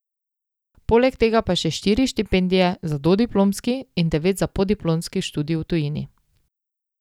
Poleg tega pa še štiri štipendije za dodiplomski in devet za podiplomski študij v tujini.